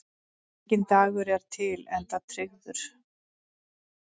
Enginn dagur er til enda tryggður.